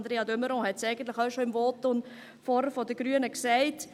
Andrea de Meuron hat es eigentlich vorhin auch schon im Votum der Grünen gesagt.